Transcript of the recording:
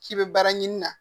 K'i bɛ baara ɲini na